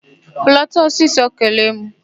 Hulata ọsịsọ kelee mụ!